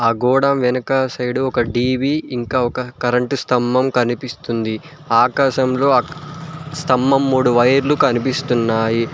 గోడ వెనుక సైడ్ ఒక టీ_వీ ఇంకా ఒక కరెంటు స్తంభం కనిపిస్తుంది ఆకాశంలో స్తంభం మూడు వైర్లు కనిపిస్తున్నాయి.